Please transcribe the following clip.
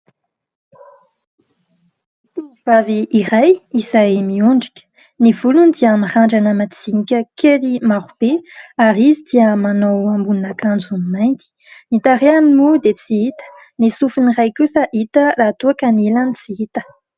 Tovovavy iray izay miondrika. Ny volony dia mirandrana madinika kely marobe ary izy dia manao ambonin'akanjo mainty. Ny tarehiny moa dia tsy hita. Ny sofiny iray kosa hita raha toa ka ny ilany tsy hita.